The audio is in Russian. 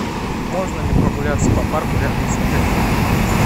можно ли прогуляться по парку рядом с отелем